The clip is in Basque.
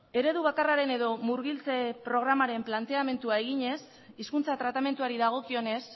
eredu bakarraren edo murgiltze programaren planteamendua eginez hizkuntza tratamenduari dagokionez